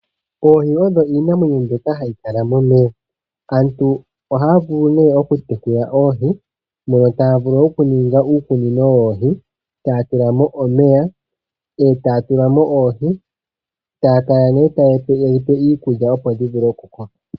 Oohi odho iinamwenyo mbyoka hayi kala momeya. Aantu ohaya vulu nee okutekula oohi, mono taya vulu okuninga uukunino woohi, taya tulamo omeya, e taya tulamo oohi, yo taya kala nee tayedhi pelemo iikulya, opo dhivule okukoka.